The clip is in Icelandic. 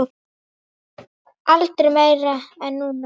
Aldrei meira en núna.